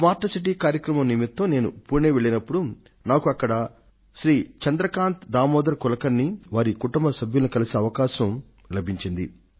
smart city కార్యక్రమం నిమిత్తం నేను పుణె వెళ్లినప్పుడు నాకు అక్కడ శ్రీ చంద్రకాంత్ దామోదర్ కులకర్ణిని వారి కుటుంబ సభ్యులను కలుసుకొనే సదవకాశం లభించింది